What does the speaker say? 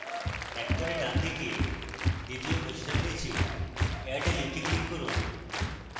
একেবারে ডানদিকে দ্বিতীয় প্রশ্নের নীচে add link click করুন